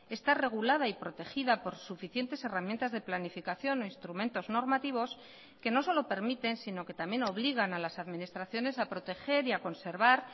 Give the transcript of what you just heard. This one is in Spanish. está regulada y protegida por suficientes herramientas de planificación o instrumentos normativos que no solo permiten sino que también obligan a las administraciones a proteger y a conservar